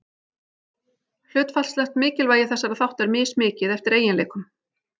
Hlutfallslegt mikilvægi þessara þátta er mismikið, eftir eiginleikum.